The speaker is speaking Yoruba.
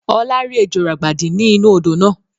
Ọlá rí ejò ràgbàdi ni inu odò náà